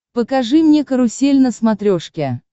покажи мне карусель на смотрешке